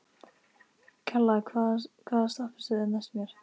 Kalla, hvaða stoppistöð er næst mér?